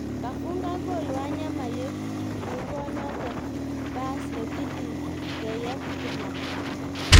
Kafungan goal Wanyama yekukonot pas netilil keyeb Kiplangat